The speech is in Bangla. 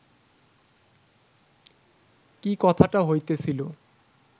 কি কথাটা হইতেছিল